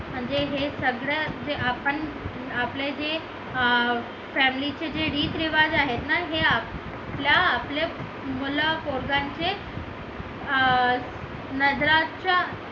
म्हणजे हे सगळं जे आपण आपल्या जे अं family चे जे रीती रिवाज आहेत ना हे आपल्या मुलं पोरांचे अं नजराच्या